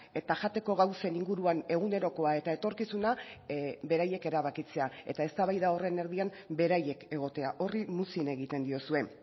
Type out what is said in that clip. eta jateko gauzen inguruan egunerokoa eta etorkizuna beraiek erabakitzea eta eztabaida horren erdian beraiek egotea horri muzin egiten diozue